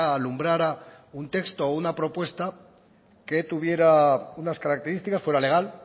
alumbrara un texto o una propuesta que tuviera unas características fuera legal